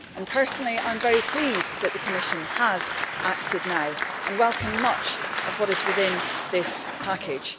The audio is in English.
Personally I am very pleased that the Commission has acted now and welcome much of what is within this package.